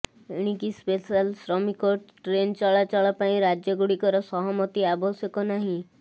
ଏଣିକି ସ୍ପେଶାଲ ଶ୍ରମିକ ଟ୍ରେନ ଚଳାଚଳ ପାଇଁ ରାଜ୍ୟଗୁଡ଼ିକର ସହମିତି ଆବଶ୍ୟକ ନାହିଁ